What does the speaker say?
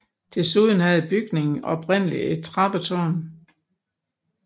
Desuden havde bygningen oprindeligt et trappetårn